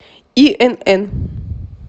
инн